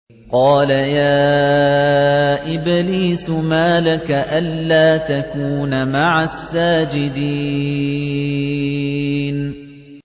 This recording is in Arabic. قَالَ يَا إِبْلِيسُ مَا لَكَ أَلَّا تَكُونَ مَعَ السَّاجِدِينَ